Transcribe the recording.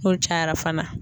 N'olu cayara fana